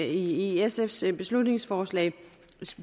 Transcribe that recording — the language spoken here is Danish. i sfs beslutningsforslag